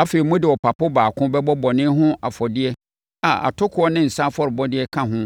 Afei, mode ɔpapo baako bɛbɔ bɔne ho afɔdeɛ a atokoɔ ne nsã afɔrebɔdeɛ ka ho